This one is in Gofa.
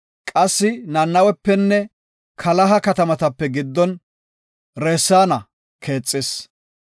Qassi Nanawepenne Kalaha katamaape giddon Reseena keexis.